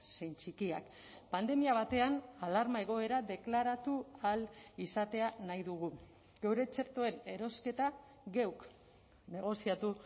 zein txikiak pandemia batean alarma egoera deklaratu ahal izatea nahi dugu geure txertoen erosketa geuk negoziatu